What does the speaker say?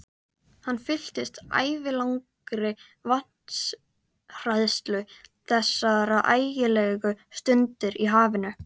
Hann fylltist ævilangri vatnshræðslu þessar ægilegu stundir í hafinu.